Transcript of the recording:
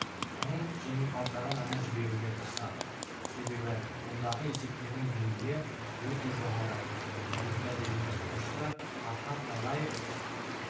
соның жеңімпаздарын ғана жіберуге тырысады себебі мұндағы есептердің деңгейі өте жоғары олимпиада ұйымдастырушысы архат долаев